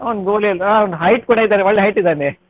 ಅವನು goal ಎಲ್ಲ ಅವನು height ಕೂಡ ಇದ್ದಾನೆ ಒಳ್ಳೆ height ಇದ್ದಾನೆ.